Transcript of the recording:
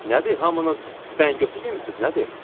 Nədir hamınız bəngötü yemmisiz nədir?